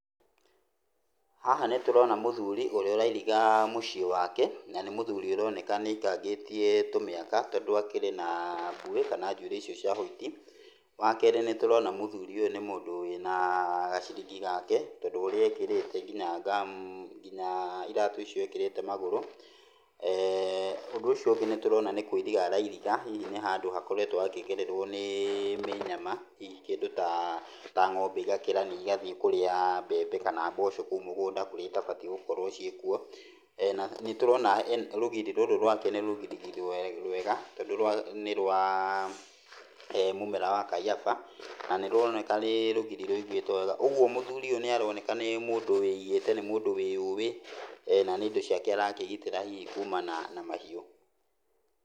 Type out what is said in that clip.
Haha nĩ tũrona mũthuri ũrĩa ũrairiga mũciĩ wake. Na nĩ mũthuri ũroneka nĩ aikangĩtie tũmĩaka, tondũ akĩrĩ na mbuĩ, kana njuĩrĩ icio cia white. Wakerĩ nĩ tũrona nĩ mũthuri ũyũ nĩ mũndũ wĩna gaciringi gake tondũ ũrĩa ekĩrĩte nginya ngamu, nginya iratũ icio ekĩrĩte magũru. Ũndũ ũcio ũngĩ nĩ tũrona nĩ kũiriga arairiga, hihi nĩ handũ hakoretwo hakĩgererwo nĩ mĩnyama hihi kĩndũ ta ng'ombe igakĩrania igathiĩ kũrĩa mbembe kana mboco kũu mũgũnda kũrĩa itabatiĩ gũkorwo ciĩkuo. Na nĩ tũrona rũgiri rũrũ rwake nĩ rũgiri rwega tondũ rwa nĩ rwa mũmera wa kaiyaba, na nĩ rũroneka nĩ rũgiri rũĩgĩtwo wega. Ũguo mũthuri ũyũ nĩ aroneka nĩ mũndũ wĩigĩte, nĩ mũndũ wĩyũĩ, na nĩ indo ciake arakĩgitĩra hihi kuumana na mahiũ.